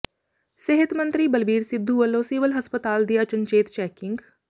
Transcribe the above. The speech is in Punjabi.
ਸਿਹਤ ਮੰਤਰੀ ਬਲਬੀਰ ਸਿੱਧੂ ਵੱਲੋਂ ਸਿਵਲ ਹਸਪਤਾਲ ਦੀ ਅਚਨਚੇਤ ਚੈਕਿੰਗ